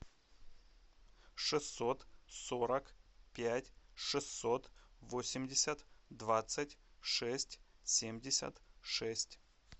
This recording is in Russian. шестьсот сорок пять шестьсот восемьдесят двадцать шесть семьдесят шесть